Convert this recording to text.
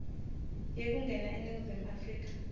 yekungena eningizimu afrika